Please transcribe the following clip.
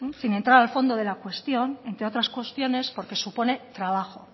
sin entrar al fondo de la cuestión entre otras cuestiones porque supone trabajo